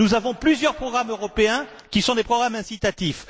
Nous avons plusieurs programmes européens qui sont des programmes incitatifs.